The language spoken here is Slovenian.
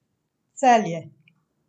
Celje.